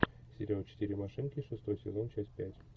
сериал четыре машинки шестой сезон часть пять